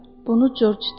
Bunu Corc dedi.